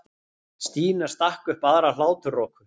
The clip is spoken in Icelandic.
Stína rak upp aðra hláturroku.